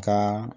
Ka